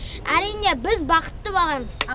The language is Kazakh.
әрине біз бақытты баламыз